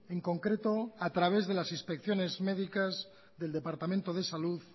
en concreto a través de las inspecciones medicas del departamento de salud